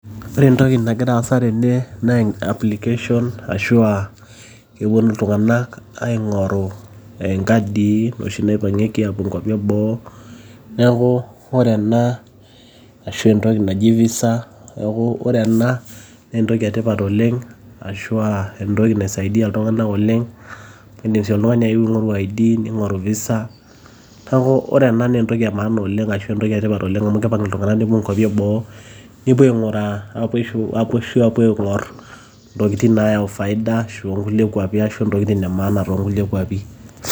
Ore entoki nagira aasa tene naa application ashua kepuonu iltung'anak aing'oru inkadii noshi naipang'ieki aapuo nkuapi eboo. Neeku ore ena ashua entoki naji Visa neeku ore ena naa entoki etipat oleng' ashua entoki naisaidia iltung'anak oleng'. Indim sii oltung'ani ayeu aing'oru ID ning'oru Visa, neeku ore ena naa entoki emaana oleng' ashua entoki etipat oleng' amu keipang' iltung'anak nepuo nkuapi eboo nepuo aing'uraa aapuo aing'orr intokitin naayau faida ashua ntokitin emaana tekulie kuapi.